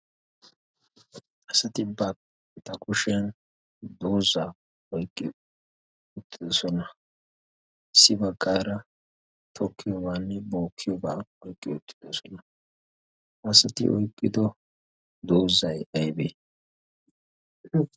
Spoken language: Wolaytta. asati bata koshiyan doozaa oiqqi uttidosona si baggaara torkkiyoobaanne bookiyoobaa oiqqi uttidosona hasati oyqqido doozay aybee?